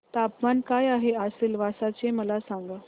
तापमान काय आहे आज सिलवासा चे मला सांगा